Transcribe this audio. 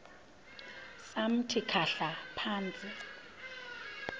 samthi khahla phantsi